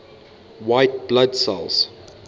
white blood cells